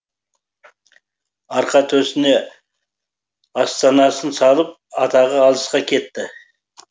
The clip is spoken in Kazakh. арқа төсіне астанасын салып атағы алысқа кетті